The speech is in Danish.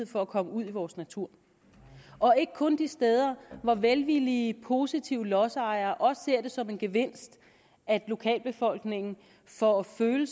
for at komme ud i vores natur og ikke kun de steder hvor velvillige positive lodsejere også ser det som en gevinst at lokalbefolkningen får føling